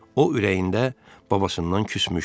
O ürəyində babasından küsmüşdü.